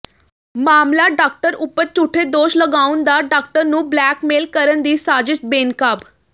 ਮਾਮਲਾ ਡਾਕਟਰ ਉੱਪਰ ਝੂਠੇ ਦੋਸ਼ ਲਗਾਉਣ ਦਾ ਡਾਕਟਰ ਨੂੰ ਬਲੈਕਮੇਲ ਕਰਨ ਦੀ ਸਾਜ਼ਿਸ਼ ਬੇਨਕਾਬ